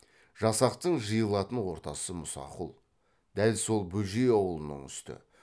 жасақтың жиылатын ортасы мұсақұл дәл сол бөжей аулының үсті